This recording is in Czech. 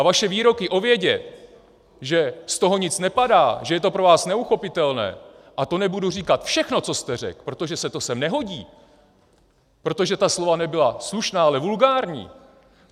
A vaše výroky o vědě, že z toho nic nepadá, že je to pro vás neuchopitelné - a to nebudu říkat všechno, co jste řekl, protože se to sem nehodí, protože ta slova nebyla slušná, ale vulgární.